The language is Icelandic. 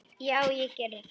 Já, ég geri það.